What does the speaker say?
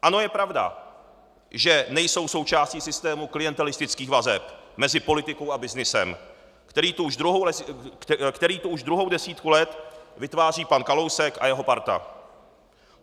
Ano, je pravda, že nejsou součástí systému klientelistických vazeb mezi politikou a byznysem, který tu už druhou desítku let vytváří pan Kalousek a jeho parta.